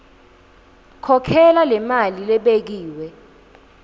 khokhela lemali lebekiwe